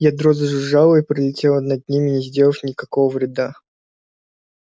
ядро зажужжало и пролетело над ними не сделав никакого вреда